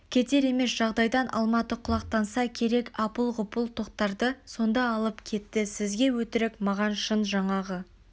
кетер емес жағдайдан алматы құлақтанса керек апыл-ғұпыл тоқтарды сонда алып кетті сізге өтірік маған шын жаңағы